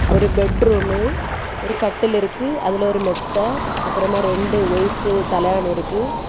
ஒரு பெட்ரூம்மு . ஒரு கட்டில் இருக்கு. அதுல ஒரு மெத்த. அப்பறமா ரெண்டு ஒயிட் தலகாணி இருக்கு.